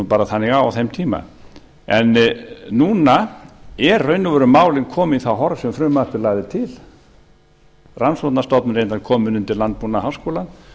bara þannig á á þeim tíma núna eru í raun og veru málin komin í það horf sem frumvarpið lagði til rannsóknarstofnanirnar komin undir landbúnaðarháskólann